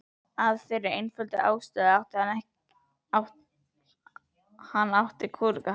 Af þeirri einföldu ástæðu að hann átti kúrekahatt.